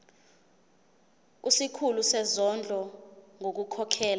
kusikhulu sezondlo ngokukhokhela